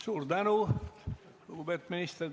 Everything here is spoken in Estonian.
Suur tänu, lugupeetud minister!